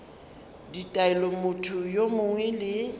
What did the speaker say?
ditaelo motho yo mongwe le